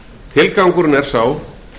tilgangurinn er sá